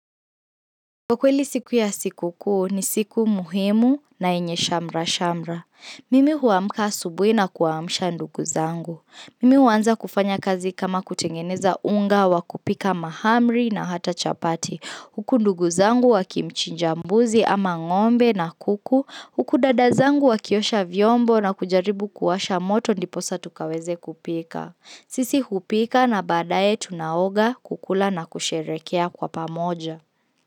Kwa kweli siku ya sikukuu ni siku muhimu na yenye shamrashamra. Mimi huamka asubui na kuwaamsha ndugu zangu. Mimi huanza kufanya kazi kama kutengeneza unga wa kupika mahamri na hata chapati. Huku ndugu zangu wakimchinja mbuzi ama ng'ombe na kuku. Huku dada zangu wakiosha vyombo na kujaribu kuwasha moto ndiposa tukaweze kupika. Sisi hupika na baadaye tunaoga kukula na kusherekea kwa pamoja.